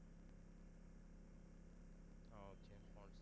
oh james bond